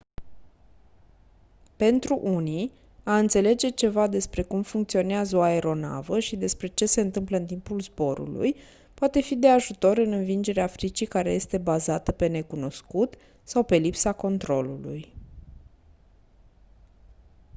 pentru unii a înțelege ceva despre cum funcționează o aeronavă și despre ce se întâmplă în timpul zborului poate fi de ajutor în învingerea fricii care este bazată pe necunoscut sau pe lipsa controlului